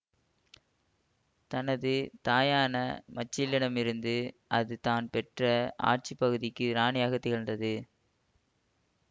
தனது தாயான மச்சிலியிடமிருந்து அது தான் பெற்ற ஆட்சி பகுதிக்கு இராணியாகத் திகழ்ந்தது